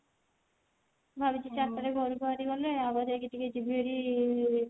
ଭାବୁଛି ଚାରି ଟା ରେ ଘରୁ ବାହାରି ଗଲେ ଆଗ ଯାଇକି ଟିକେ ଯିବି ହେରି